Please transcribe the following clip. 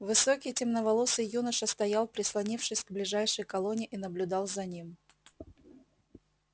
высокий темноволосый юноша стоял прислонившись к ближайшей колонне и наблюдал за ним